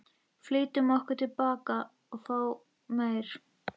Flýttum okkur tilbaka að fá meir.